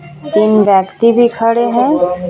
तीन व्यक्ति भी खड़े हैं.